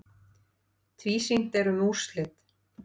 Tvísýnt er um úrslit.